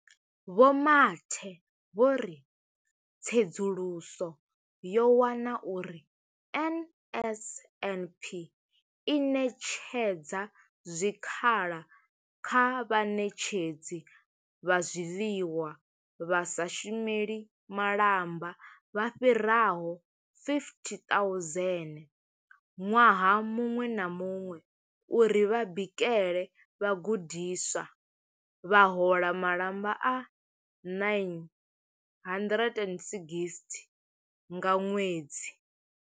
Vho Mathe vho ri tsedzuluso yo wana uri NSNP i ṋetshedza zwikhala kha vhaṋetshedzi vha zwiḽiwa vha sa shumeli malamba vha fhiraho 50 000 ṅwaha muṅwe na muṅwe uri vha bikele vhagudiswa, vha hola malamba a R960 nga ṅwedzi.